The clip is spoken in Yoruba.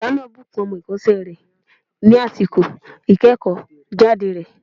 Ọ̀gá náà bùkún ọmọ èkósẹ́ rẹ̀ ní àsìkò ìkéèkó jáde rẹ̀